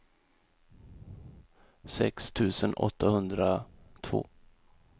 sex tusen åttahundratvå